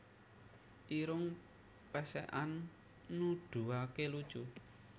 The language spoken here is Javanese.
Irung Pèsèkan Nuduhaké lucu